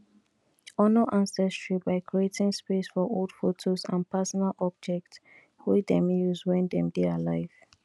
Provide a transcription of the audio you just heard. honor ancestry by creating space for old photos and personal objects wey dem use when dem dey alive